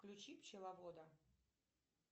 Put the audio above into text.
включи пчеловода